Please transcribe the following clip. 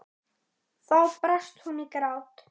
Þá brast hún í grát.